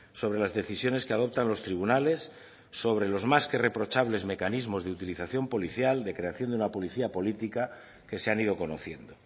sobre las decisiones que adoptan los tribunales sobre los más que reprochables mecanismos de utilización policial de creación de una policía política que se han ido conociendo